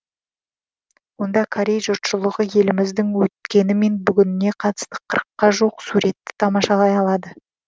онда корей жұртшылығы еліміздің өткені мен бүгініне қатысты қырыққа жуық суретті тамашалай алады